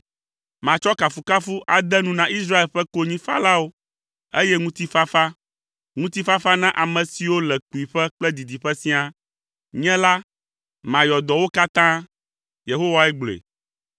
Matsɔ kafukafuha ade nu na Israel ƒe konyifalawo, eye ŋutifafa, ŋutifafa na ame siwo le kpuiƒe kple didiƒe siaa. Nye la, mayɔ dɔ wo katã.” Yehowae gblɔe.